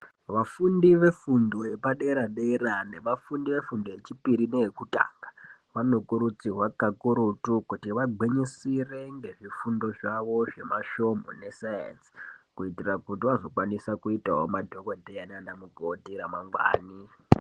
Vafundi vefundo yepadera dera nevafundi vefundo yechipiri neyekutanga vanokurudzirwa kakurutu kuti vagwinyisire nezvifundo zvavo zvemasvomhu ne sayenzi kuitira kuti vazokwanisa kuitawo madhokodheya nana mukoti ramangwani.